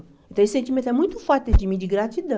Então esse sentimento é muito forte dentro de mim, de gratidão.